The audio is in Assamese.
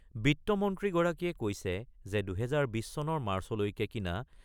বিত্তমন্ত্ৰী গৰাকীয়ে কৈছে যে ২০২০ চনৰ মাৰ্চলৈকে কিনা